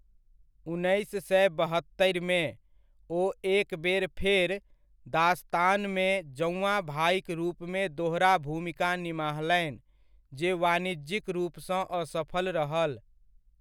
उन्नैस सए बहत्तरिमे, ओ एक बेर फेर 'दास्तान'मे जौआँ भाइक रूपमे दोहरा भूमिका निमाहलनि जे वाणिज्यिक रूपसँ असफल रहल।